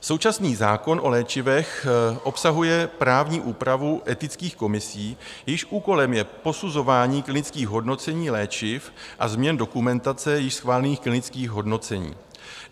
Současný zákon o léčivech obsahuje právní úpravu etických komisí, jejichž úkolem je posuzování klinických hodnocení léčiv a změn dokumentace již schválených klinických hodnocení.